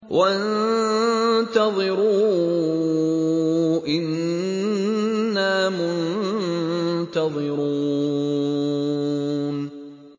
وَانتَظِرُوا إِنَّا مُنتَظِرُونَ